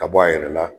Ka bɔ a yɛrɛ la